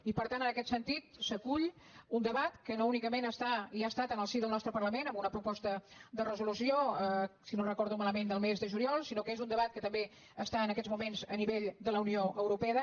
i per tant en aquest sentit s’acull un debat que no únicament està i ha estat en el si del nostre parlament amb una proposta de resolució si no ho recordo malament del mes de juliol sinó que és un debat que també està en aquests moments a nivell de la unió europea